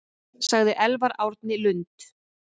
Sagði Elvar Árni Lund.